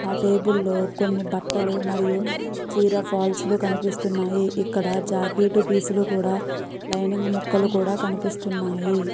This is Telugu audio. ఆ టెబుల్ లో కొన్ని బట్టలు మరియు చీర ఫాల్స్ కనిపిస్తున్నాయి. ఇక్కడ జాకెట్ పీస్ లు కూడా లైనింగ్ ముక్కలు కూడా కనిపిస్తున్నాయి.